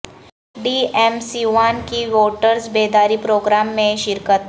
D M Siwan کی voters بیداری programme میںشرکت